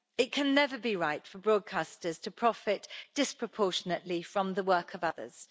It can never be right for broadcasters to profit disproportionately from the work of others.